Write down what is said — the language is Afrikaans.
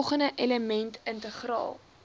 volgende elemente integraal